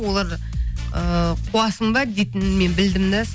олар ыыы қуасың ба дейтінін мен білдім де